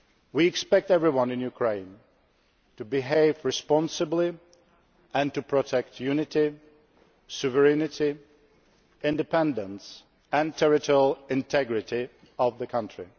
We expect everyone in Ukraine to behave responsibly and to protect the unity, sovereignty, independence and territorial integrity of the country.